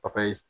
Papaye